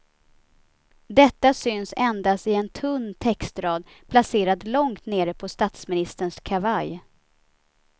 Detta syns endast i en tunn textrad placerad långt nere på statsministerns kavaj.